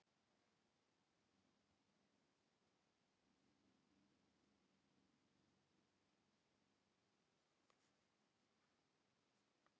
Á ríkið þá að setja kröfur á þau?